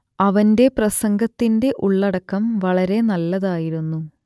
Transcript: അവന്റെ പ്രസംഗത്തിന്റെ ഉള്ളടക്കം വളരെ നല്ലതായിരുന്നു